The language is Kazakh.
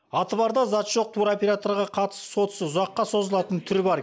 аты бар да заты жоқ туроперторға қатысты сот ісі ұзаққа созылатын түрі бар